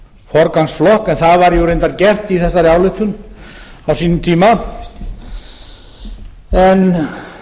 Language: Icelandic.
forgangsflokk en það var nú reyndar gert í þessari ályktun á sínum tíma en